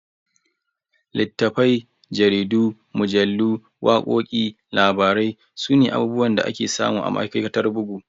Littafai, jaridu, mujallu, wakoki, labarai sune abubuwan da ake samu a ma'aikatar bugu.